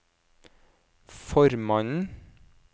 formannen